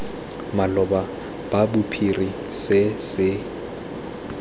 maloba sa bophiri se se